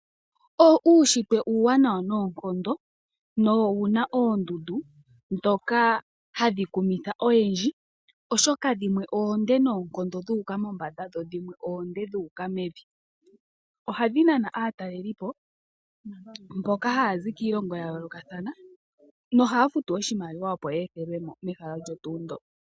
Uunshitwe uuwanawa noonkono nowu na oondundu ndhoka hadhi kumitha oyendji, oshoka dhimwe oonde noonkondo dhu uka mombanda. Ohadhi nana aatalelipo mboka haya zi kiilongo ya yoolokathana nohaya futu oshimaliwa, opo ye ethelwe mo mehala olyo tuu ndyoka.